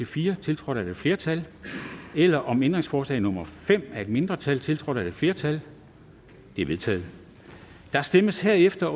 fire tiltrådt af et flertal eller om ændringsforslag nummer fem af et mindretal tiltrådt af et flertal de er vedtaget der stemmes herefter